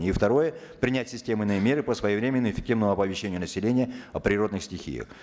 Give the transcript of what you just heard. и второе принять системные меры по своевременно и эффективного оповещения населения о природных стихиях